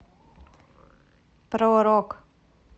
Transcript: про рок